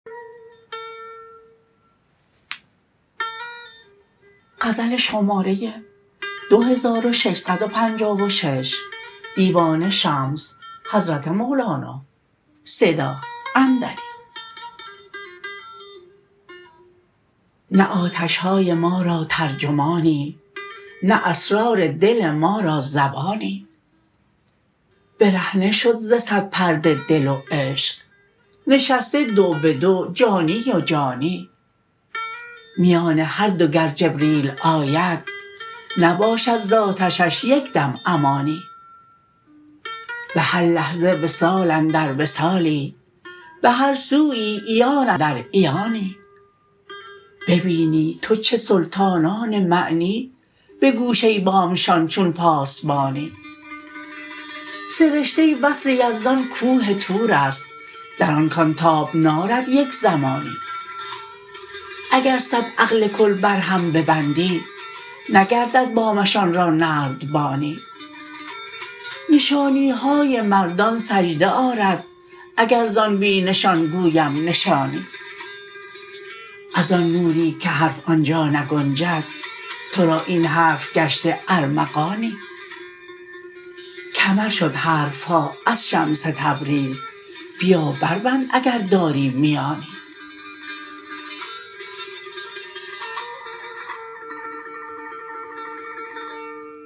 نه آتش های ما را ترجمانی نه اسرار دل ما را زبانی برهنه شد ز صد پرده دل و عشق نشسته دو به دو جانی و جانی میان هر دو گر جبریل آید نباشد ز آتشش یک دم امانی به هر لحظه وصال اندر وصالی به هر سویی عیان اندر عیانی ببینی تو چه سلطانان معنی به گوشه بامشان چون پاسبانی سرشته وصل یزدان کوه طور است در آن کان تاب نارد یک زمانی اگر صد عقل کل بر هم ببندی نگردد بامشان را نردبانی نشانی های مردان سجده آرد اگر زان بی نشان گویم نشانی از آن نوری که حرف آن جا نگنجد تو را این حرف گشته ارمغانی کمر شد حرف ها از شمس تبریز بیا بربند اگر داری میانی